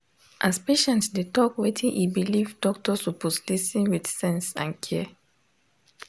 as patient dey talk wetin e believe doctor suppose lis ten with sense and care.